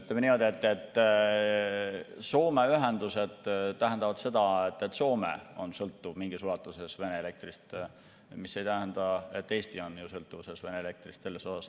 Ütleme niimoodi, et Soome ühendused tähendavad seda, et Soome on mingis ulatuses sõltuv Vene elektrist, see ei tähenda, et Eesti on selles osas sõltuvuses Vene elektrist.